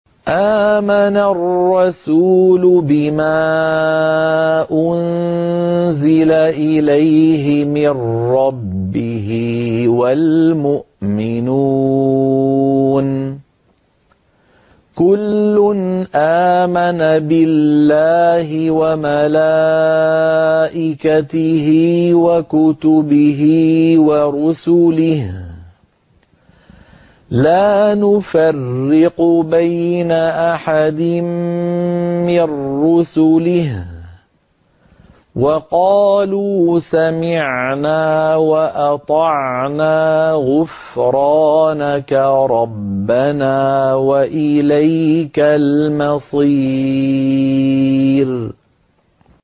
آمَنَ الرَّسُولُ بِمَا أُنزِلَ إِلَيْهِ مِن رَّبِّهِ وَالْمُؤْمِنُونَ ۚ كُلٌّ آمَنَ بِاللَّهِ وَمَلَائِكَتِهِ وَكُتُبِهِ وَرُسُلِهِ لَا نُفَرِّقُ بَيْنَ أَحَدٍ مِّن رُّسُلِهِ ۚ وَقَالُوا سَمِعْنَا وَأَطَعْنَا ۖ غُفْرَانَكَ رَبَّنَا وَإِلَيْكَ الْمَصِيرُ